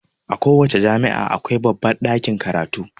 A ko wace jami'a akwai babbar ɗakin karatu.